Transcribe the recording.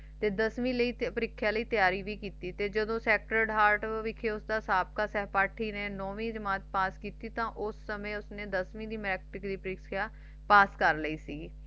ਤੇ ਦਸਵੀ ਲਈ ਪਰਿਕ੍ਸ਼ਾ ਦੀ ਤਿਆਰੀ ਭੀ ਕਿੱਤੀ ਜਦੋ ਸੈਕਟਰ ਹਰਟ ਵਿਕਯੋ ਦਾ ਨੌਵੀਂ ਜਮਾਤ ਪਾਸ ਕਿੱਤੀ ਤੇ ਉਸ ਸਮੇਂ ਉਸਨੇ ਦਸਵੀ ਦੀ ਮੈਟ੍ਰਿਕ ਦੀ ਲਿਖਿਆ ਪਾਸ ਕਰ ਲਈ ਸੀ